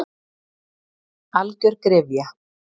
Algjör gryfja.